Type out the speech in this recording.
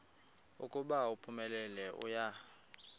ukuba uphumelele uya